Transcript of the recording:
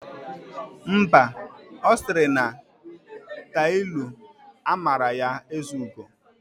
Mba, ọ siri na tailu amara ya ezugo.